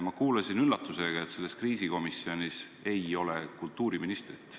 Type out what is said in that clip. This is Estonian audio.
Ma kuulsin üllatusega, et selles kriisikomisjonis ei ole kultuuriministrit.